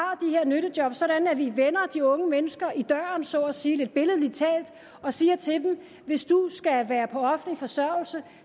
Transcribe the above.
nyttejob sådan at vi vender de unge mennesker i døren så at sige lidt billedligt talt og siger til dem hvis du skal være på offentlig forsørgelse